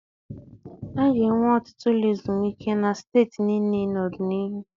A ga-enwe ọtụtụ ụlọ ezumike na steeti niile n'ọdịnihu.